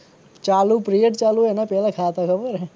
ચાલુ પીરિયડ હોય પીરિયડ ચાલુ હોય એના પેલા ખાતા ખબર હે